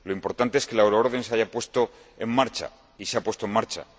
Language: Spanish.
lo importante es que la euroorden se haya puesto en marcha, y se ha puesto en marcha